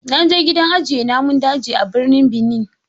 Na je gidan ajiye namun daji a birnin Benin.